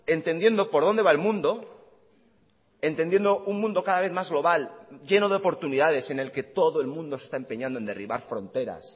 entendiendo por dónde va el mundo entendiendo un mundo cada vez más global lleno de oportunidades en el que todo el mundo se está empeñando en derribar fronteras